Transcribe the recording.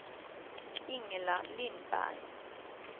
Ingela Lindberg